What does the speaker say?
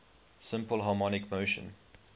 simple harmonic motion